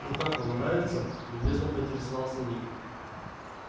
ну как вам нравится любезно поинтересовался ник